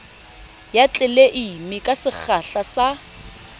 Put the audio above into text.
ya tleleime ka sekgahla sa